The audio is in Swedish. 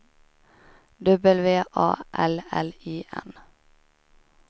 W A L L I N